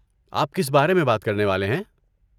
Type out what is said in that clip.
آپ کس بارے میں بات کرنے والے ہیں؟